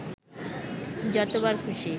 যতবার খুশি